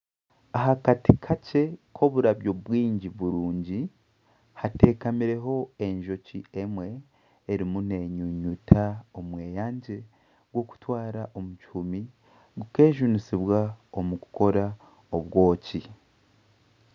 Aha kati kakye k'oturabyo turungi hateekamireho enjoki emwe erimu nenyunyuta omweyangye gw'okutwara omu kihumi gukejunisibwa omu kukora obwoki.